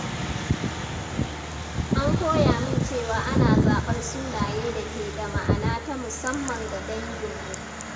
An koya min cewa ana zaɓar sunaye da ke da ma’ana ta musamman ga danginmu.